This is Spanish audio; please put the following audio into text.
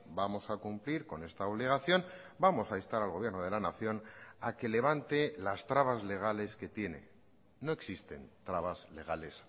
vamos a cumplir con esta obligación vamos a instar al gobierno de la nación a que levante las trabas legales que tiene no existen trabas legales